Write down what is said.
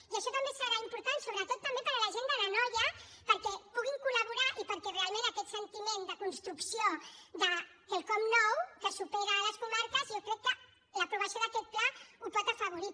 i això també serà important sobretot també per a la gent de l’anoia perquè puguin col·laborar i perquè realment aquest sentiment de construcció de quelcom nou que supera les comarques jo crec que l’aprovació d’aquest pla el pot afavorir